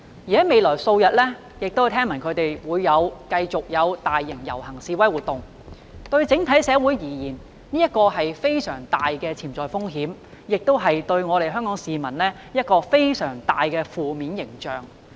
我聽聞示威者會在未來數日繼續舉行大型遊行和示威活動，這對整體社會而言是非常大的潛在風險，亦對香港市民構成非常負面的形象。